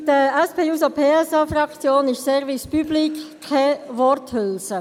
Für die SP-JUSO-PSA-Fraktion ist Service public keine Worthülse.